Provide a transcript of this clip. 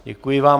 Děkuji vám.